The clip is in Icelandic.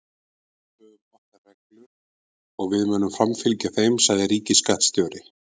En við höfum okkar reglur og við munum framfylgja þeim, sagði ríkisskattstjóri